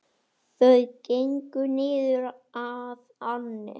Þau gengu niður að ánni.